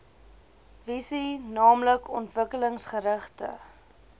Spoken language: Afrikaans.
visie naamlik ontwikkelingsgerigte